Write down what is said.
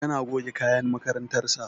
Yana goge kayan makarantar sa